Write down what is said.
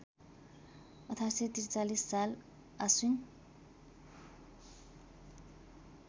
१८४३ साल आश्विन